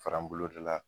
Fara n bolo de la